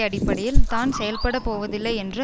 அடிப்படையில் தான் செயல்பட போவதில்லை என்று